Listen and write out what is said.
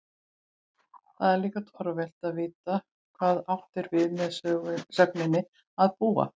Þá er líka torvelt að vita hvað átt er við með sögninni að búa?